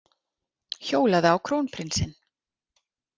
Hjólaði á krónprinsinn